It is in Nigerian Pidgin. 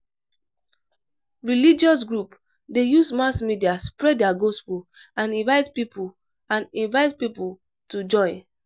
Religious group de use mass media spread their gospel and invite pipo and invite pipo to join